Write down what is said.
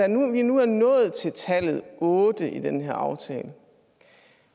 når vi nu er nået til tallet otte i den her aftale